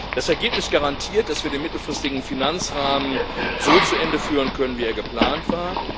Das Ergebnis garantiert, dass wir den mittelfristigen Finanzrahmen so zu Ende führen können, wie er geplant war.